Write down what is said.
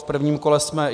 V prvním kole jsme...